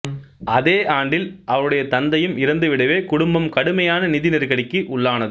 அதே ஆண்டில் அவருடைய தந்தையும் இறந்து விடவே குடும்பம் கடுமையான நிதி நெருக்கடிக்கு உள்ளானது